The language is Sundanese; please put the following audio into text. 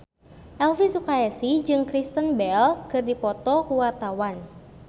Elvi Sukaesih jeung Kristen Bell keur dipoto ku wartawan